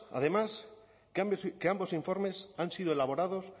además que ambos informes han sido elaborados